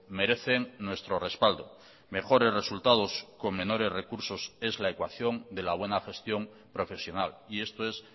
merecen nuestro respaldo mejores resultados con menores recursos es la ecuación de la buena gestión profesional y esto es